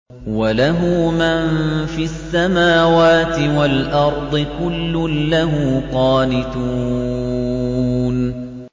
وَلَهُ مَن فِي السَّمَاوَاتِ وَالْأَرْضِ ۖ كُلٌّ لَّهُ قَانِتُونَ